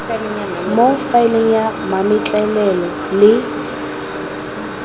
mo faeleng ya mametlelelo le